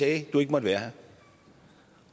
at du ikke måtte være her